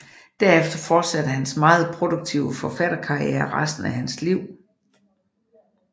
Derefter fortsatte hans meget produktive forfatterkarriere resten af hans liv